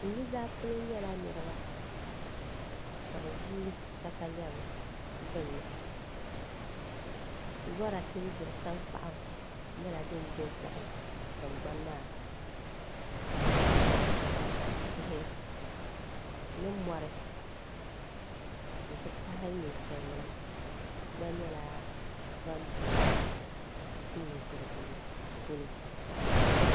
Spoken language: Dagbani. N nuzaa polo nyɛla niraba ka bi ʒi katalɛm gbunni lora din gbiri tankpaɣu nyɛla din gbi n saɣam tingbani maa ka tihi ni mori n ti pahi ninsal nim gba nyɛla ban bɛ di nudirigu polo